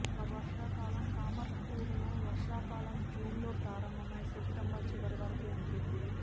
వర్షాకాలం కమర్పుకుర్ లో వర్షాకాలం జూన్ లో ప్రారంభమై సెప్టెంబర్ చివరి వరకు ఉంటుంది